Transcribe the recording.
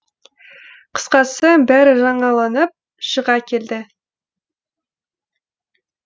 қысқасы бәрі жаңаланып шыға келді